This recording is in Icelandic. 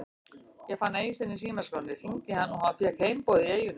Ég fann Eystein í símaskránni, hringdi í hann og fékk heimboð í eyjuna.